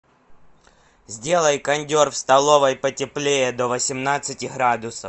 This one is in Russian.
сделай кондер в столовой потеплее до восемнадцати градусов